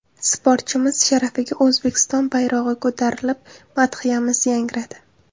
Sportchimiz sharafiga O‘zbekiston bayrog‘i ko‘tarilib, madhiyamiz yangradi.